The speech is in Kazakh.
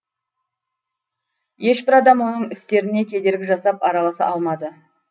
ешбір адам оның істеріне кедергі жасап араласа алмады